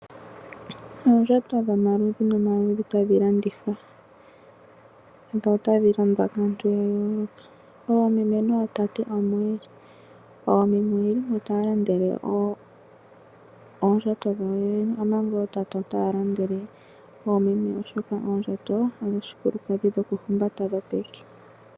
Oondjato dhomaludhi nomaludhi tadhi landithwa notadhi landwa kaantu ya yooloka oomeme nootate omo yeli. Oomeme oye limo taya landa oondjato dhawo yene omanga ootate otaya landele oomeme oshoka oondjato odhoshikilukadhi dhopeke.